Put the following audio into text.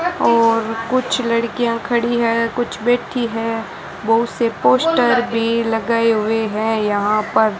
और कुछ लड़कियां खड़ी है कुछ बैठी है बहुत से पोस्टर भी लगाए हुए हैं यहां पर --